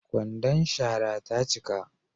Kwandon shara ta cika